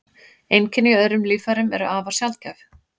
Einkenni í öðrum líffærum eru afar sjaldgæf.